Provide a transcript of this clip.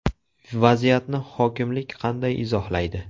Vaziyatni hokimlik qanday izohlaydi?